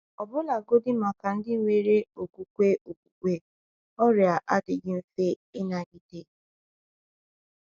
Ọbụlagodi maka ndị nwere okwukwe okpukpe, ọrịa adịghị mfe ịnagide.